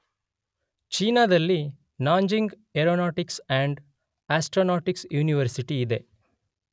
ಚೀನಾದಲ್ಲಿ Nanjing aeronautics and astronautics university ಇದೆ